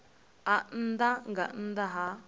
a nnḓa nga nnḓa ha